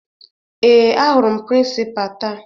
Ee, ahụrụ m prịnsịpaa taa